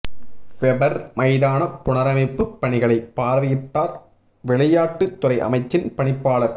weber மைதான புணரமைப்புப் பணிகளை பார்வையிட்டார் விளையாட்டு துறை அமைச்சின் பணிப்பாளர்